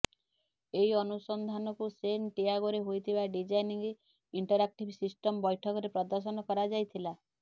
ଏହି ଅନୁସନ୍ଧାନକୁ ସେନ ଟିଆଗୋରେ ହୋଇଥିବା ଡିଜାଇନିଙ୍ଗ ଇଣ୍ଟରାକ୍ଟିଭ ସିଷ୍ଟମ ବୈଠକରେ ପଦର୍ଶନ କରାଯାଇଥିଲା